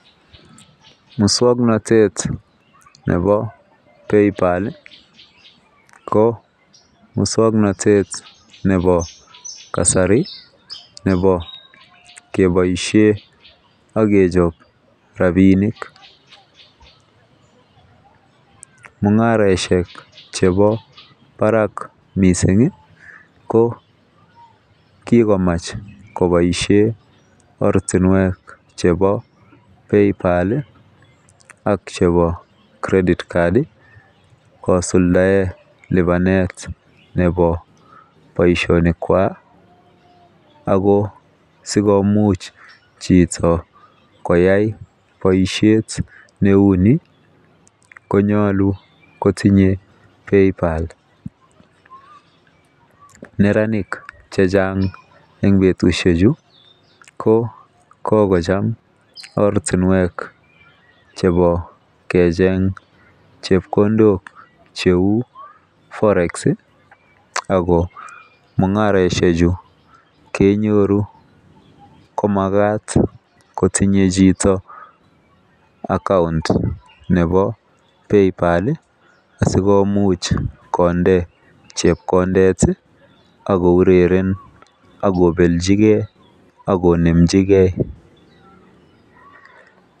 Muswongnotet nebo Paypal ko muswongnotet kasari nobody keboishen akechob rabinik mungaraishek chebo barak mising ko kikomuch kiboishen ortinwek chebo PayPal ak chebo credit card kosulda lipanet nabo boishonik kwak ako sigomuch chito koyai boishet neuni konyolu kosire neranik chang en betushek chu ko kokocham ortinwek chebo kecheng chekpkondok cheu forex ako mungaroshechu kenyoru komagat kotunge chito account nebo Paypal asikomuch konde chepkondet akoureren akobelchi akonemjigei